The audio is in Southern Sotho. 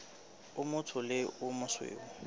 o motsho le o mosweu